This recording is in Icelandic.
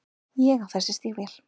Ég á þessi stígvél.